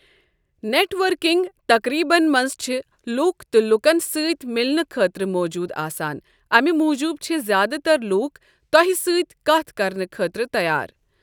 Net working تقریبَن منٛز چھِ لوٗکھ تہٕ لوٗکن سۭتۍ ملنہٕ خٲطرٕ موٗجوٗد آسان، امہِ موٗجوٗب چھِ زیادٕ تر لوٗک تۄہہِ سۭتۍ کتھ کرنہٕ خٲطرٕ تیار۔